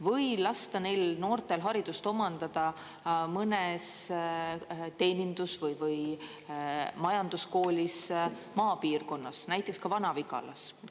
Või lasta neil noortel haridust omandada mõnes teenindus- või majanduskoolis maapiirkonnas, näiteks ka Vana-Vigalas?